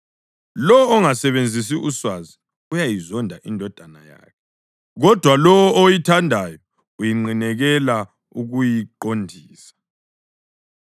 Lowo ongasebenzisi uswazi uyayizonda indodana yakhe, kodwa lowo oyithandayo unqinekela ukuyiqondisa.